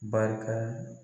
Barika